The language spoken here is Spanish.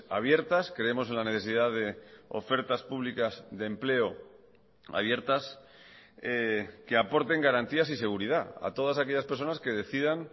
abiertas creemos en la necesidad de ofertas públicas de empleo abiertas que aporten garantías y seguridad a todas aquellas personas que decidan